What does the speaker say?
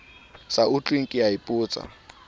sa utlweng ke a ipotsa